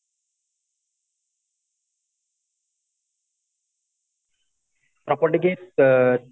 property କି ଅ